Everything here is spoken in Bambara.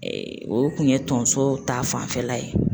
O kun ye tonso ta fanfɛla ye